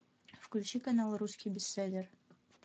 включи канал русский бестселлер